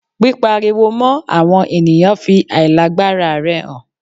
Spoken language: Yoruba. Pípariwo mọ́ àwọn ènìyàn fi àìlágbara rẹ hàn.